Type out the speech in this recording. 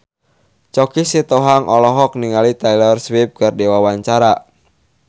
Choky Sitohang olohok ningali Taylor Swift keur diwawancara